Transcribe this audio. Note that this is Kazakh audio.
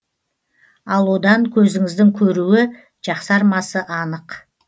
ал одан көзіңіздің көруі жақсармасы анық